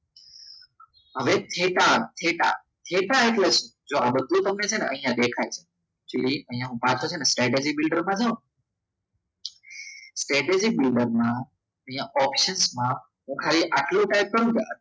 હવે theta theta theta એટલે શું બધું તમને અહીંયા દેખાય છે અહીંયા પાછળ છે ને સ્ટેટેજી ફિલ્ટરમાં છે ને સ્ટેટેજિક ઓપ્શનમાં હું ખાલી આટલું ટાઈપ કરું ને